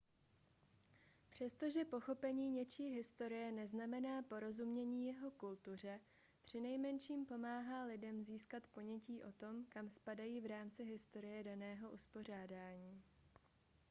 přestože pochopení něčí historie neznamená porozumění jeho kultuře přinejmenším pomáhá lidem získat ponětí o tom kam spadají v rámci historie daného uspořádání